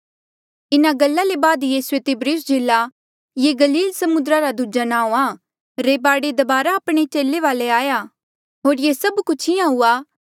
इन्हा गल्ला ले बाद यीसूए तिब्रियुस झीला ये गलील समुद्रा रा दूजा नाऊँ आ रे बाढे दबारा आपणे चेले वाले आया होर ये सभ कुछ इंहां हुआ